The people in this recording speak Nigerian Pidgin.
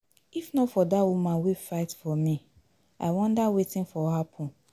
If not for that woman wey fight for me, I wonder wetin for happen.